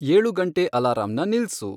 ಏಳು ಗಂಟೇ ಅಲಾರಂನ ನಿಲ್ಸು